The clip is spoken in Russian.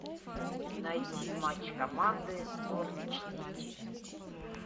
найти матч команды норвич сити